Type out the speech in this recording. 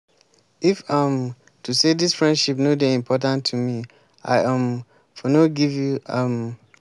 if um to sey dis friendship no dey important to me i um for no forgive you. um